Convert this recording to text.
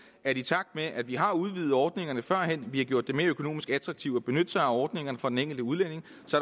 at i takt med at vi har udvidet ordningerne førhen vi har gjort det mere økonomisk attraktivt at benytte sig af ordningerne for den enkelte udlænding